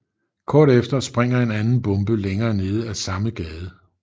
Kort efter springer en anden bombe længere nede af samme gade